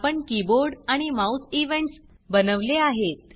आपण कीबोर्ड आणि mouse events बनवले आहेत